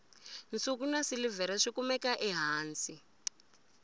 nsuku na silivhere swi kumeka ehansi